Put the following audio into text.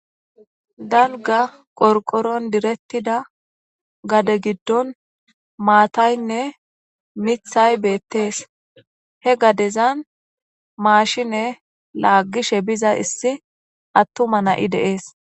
Danga qorqoron direttida gade giddon maataynne mithay beettees he gadezan maashine laagishe biza issi attuma na'i deees.